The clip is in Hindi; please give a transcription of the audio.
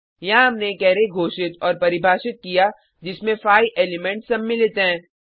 यहाँ हमने एक अरै घोषित और परिभाषित किया जिसमें 5 एलिमेंट्स सम्मिलित हैं